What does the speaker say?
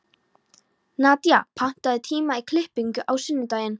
Nadía, pantaðu tíma í klippingu á sunnudaginn.